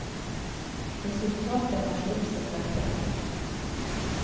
Resultatet har stort sett vært bra.